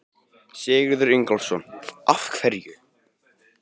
Sigurður Ingólfsson: Af hverju?